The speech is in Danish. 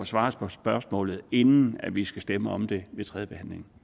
svar på spørgsmålet inden vi skal stemme om det ved tredjebehandlingen